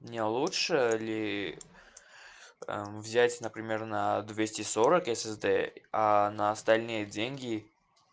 не лучше ли взять например на двести сорок ссзд а на остальные деньги